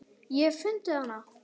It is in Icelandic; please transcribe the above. Ég hef fundið hana!